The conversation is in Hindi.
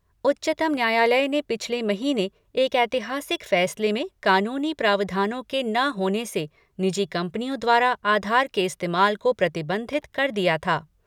उच्चतम न्यायालय ने पिछले महीने एक ऐतिहासिक फैसले में कानूनी प्रावधानों के न होने से निजी कंपनियों द्वारा आधार के इस्तेमाल को प्रतिबंधित कर दिया था।